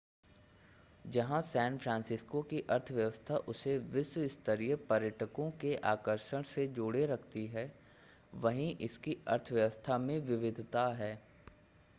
जहां San Francisco की अर्थव्यवस्था उसे विश्व-स्तरीय पर्यटकों के आकर्षण से जोड़े रखती है वहीं इसकी अर्थव्यवस्था में विविधता है